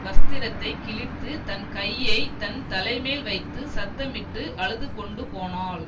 வஸ்திரத்தை கிழித்து தன் கையை தன் தலைமேல் வைத்து சத்தமிட்டு அழுதுகொண்டுபோனாள்